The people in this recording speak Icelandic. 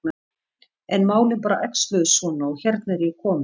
En málin bara æxluðust svona og hérna er ég komin.